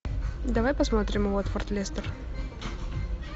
давай посмотрим уотфорд лестер